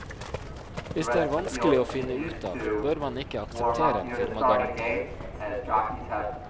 Hvis det er vanskelig å finne ut av, bør man ikke akseptere en firmagaranti.